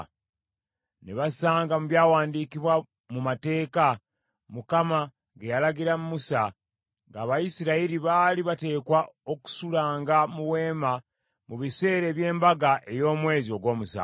Ne basanga mu byawandiikibwa mu Mateeka, Mukama ge yalagira Musa, nga Abayisirayiri baali bateekwa okusulanga mu weema mu biseera eby’embaga ey’omwezi ogw’omusanvu,